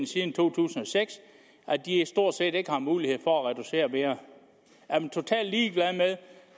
siden to tusind og seks at de stort set ikke har mulighed for at reducere mere er man totalt ligeglad